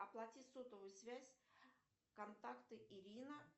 оплати сотовую связь контакты ирина